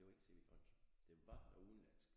Det var ikke C V Jørgensen det var noget udenlandsk